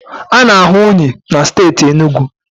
A na-ahụ unyi na steeti Enugu